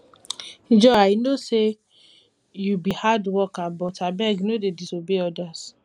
joy i no say you be hard worker but abeg no dey disobey orders